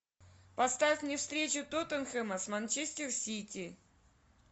поставь мне встречу тоттенхэма с манчестер сити